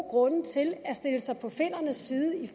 grunde til at stille sig på finnernes side i